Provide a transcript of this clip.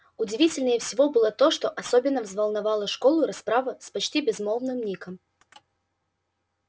удивительнее всего было то что особенно взволновала школу расправа с почти безголовым ником